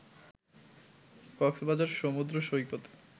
কক্সবাজার সমুদ্র সৈকত